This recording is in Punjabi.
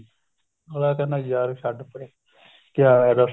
ਅਗਲਾ ਕਹਿੰਦਾ ਯਾਰ ਛੱਡ ਪਰੇ ਕਿਆ ਹੈ ਦੱਸ